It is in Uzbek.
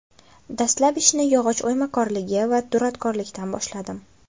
Dastlab ishni yog‘och o‘ymakorligi va duradgorlikdan boshladim.